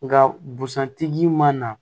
Nga busan tigi man na